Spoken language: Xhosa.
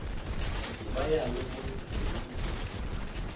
ndibayale bonke ngelithi